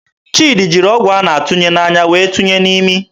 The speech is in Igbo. Chidi jiri ọgwụ a na-atụnye n'anya wee tụnye n'imi.